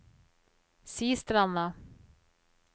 Sistranda